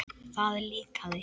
Það líkaði